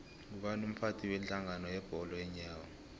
ngubani umphathi wedlangano yebholo yeenyawo